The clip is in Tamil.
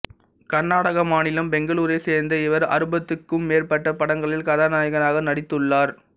கர்நாடக மாநிலம் பெங்களூரைச் சேர்ந்த இவர் அறுபதுக்கும் மேற்பட்ட படங்களில் கதாநாயகனாக நடித்துள்ளார்